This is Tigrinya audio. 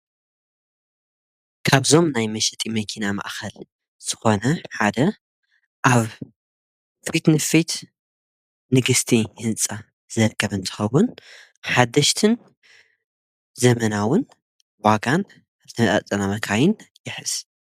ካብዞም ናይ መሽጢ መኪና መእኸል ስኾነ ሓደ ኣብ ፊትንፊት ንግሥቲ ሕንጻ ዘርከበንተኸቡን ሓደሽትን ዘመናውን ዋጋን ኣተጸናመካይን የሕስ።